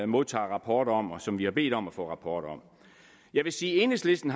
modtager rapporter om og som vi har bedt om at få rapporter om jeg vil sige at enhedslisten